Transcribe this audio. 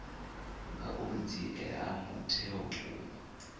ngauri dzi ea mutheo vhukuma